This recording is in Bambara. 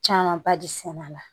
Camanba de sɛnɛ a la